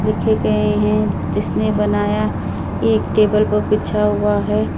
लिखे गए हैं जिसने बनाया एक टेबल पर बिछा हुआ है।